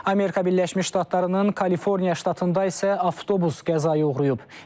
Amerika Birləşmiş Ştatlarının Kaliforniya ştatında isə avtobus qəzaya uğrayıb.